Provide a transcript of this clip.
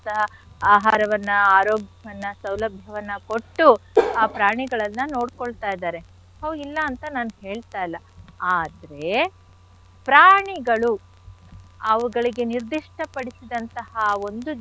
ಆಹಾರವನ್ನ ಆರೋಗ್ಯವನ್ನ ಸೌಲಭ್ಯವನ್ನ ಕೊಟ್ಟು ಆ ಪ್ರಾಣಿಗಳನ್ನ ನೋಡ್ಕೊಳ್ತ ಇದ್ದಾರೆ ಹೊ ಇಲ್ಲ ಅಂತ ನಾನ್ ಹೇಳ್ತಾ ಇಲ್ಲ ಆದ್ರೆ ಪ್ರಾಣಿಗಳು ಅವುಗಳಿಗೆ ನಿರ್ಧಿಷ್ಟ ಪಡಿಸಿದಂಥಹ ಒಂದು.